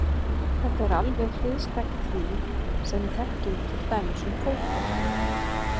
Þetta er alveg hliðstætt því sem við þekkjum til dæmis um fótboltann.